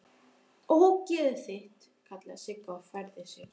Ógeðið þitt!! kallaði Sigga og færði sig.